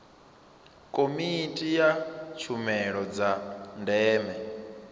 komiti ya tshumelo dza ndeme